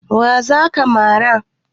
Wa za ka mara?